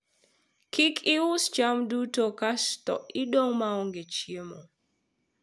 kik ius cham duto ksato idong' maonge chiemo